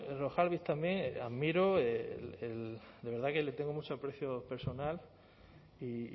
berrojalbiz admiro el de verdad que le tengo mucho aprecio personal y